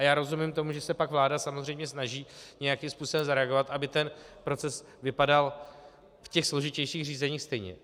A já rozumím tomu, že se pak vláda samozřejmě snaží nějakým způsobem zareagovat, aby ten proces vypadal v těch složitějších řízeních stejně.